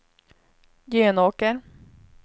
Jönåker